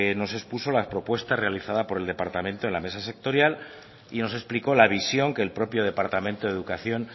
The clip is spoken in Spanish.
nos expuso la propuesta realizada por el departamento en la mesa sectorial y nos explicó la visión que el propio departamento de educación